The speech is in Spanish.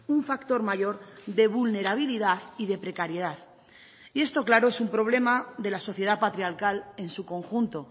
un factor mayor de vulnerabilidad y de precariedad y esto claro es un problema de la sociedad patriarcal en su conjunto